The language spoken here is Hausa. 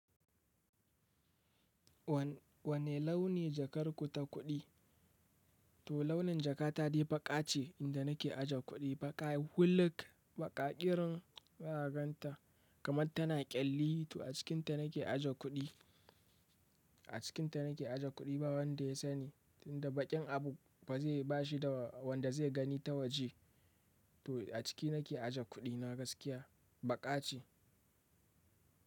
Wanne launi jakar ku ta kuɗi? To launin jakata dai baƙa ce. Inda na ke aje kuɗi baƙa huluk baƙa ƙirin za ka ganta kamar ta na ƙyalli. To a cikinta na ke aje kuɗi, a cikinta na ke aje kuɗi ba wanda ya sani. Tinda baƙin abu ba zai bashi da wanda zai gani ta waje. To a ciki na ke aje kuɗina gaskiya baƙa ce.